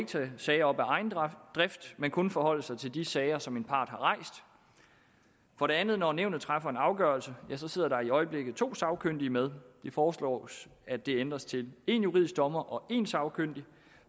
tage sager op af egen drift men kun forholde sig til de sager som en part har rejst for det andet når nævnet træffer en afgørelse sidder der i øjeblikket to sagkyndige med det foreslås at det ændres til én juridisk dommer og én sagkyndig